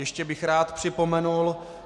Ještě bych rád připomenul.